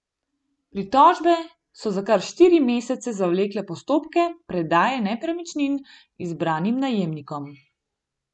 Pritožbe so za kar štiri mesece zavlekle postopke predaje nepremičnin izbranim najemnikom.